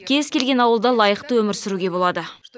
кез келген ауылда лайықты өмір сүруге болады